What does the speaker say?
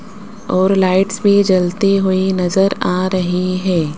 और लाइट्स भी जलती हुई नजर आ रही है।